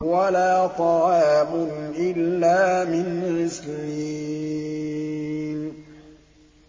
وَلَا طَعَامٌ إِلَّا مِنْ غِسْلِينٍ